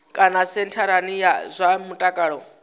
kana sentharani ya zwa mutakalo